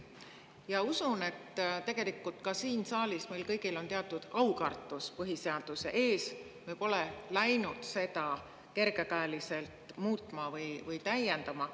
Ma usun, et tegelikult ka siin saalis on meil kõigil teatud aukartus põhiseaduse ees, me pole läinud seda kergekäeliselt muutma või täiendama.